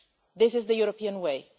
This is the European